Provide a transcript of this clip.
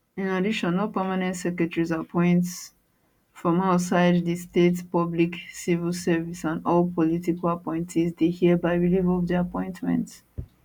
in addition all permanent secretaries appoint from outside di state publiccivil service and all political appointees dey hereby relieve of dia appointments